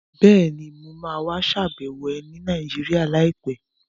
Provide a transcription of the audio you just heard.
Bẹ́ẹ̀ni, mo ma wá ṣàbẹ̀wọ̀ ẹ ní Nàìjíríà láìpẹ́